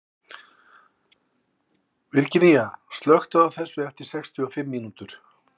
Virginía, slökktu á þessu eftir sextíu og fimm mínútur.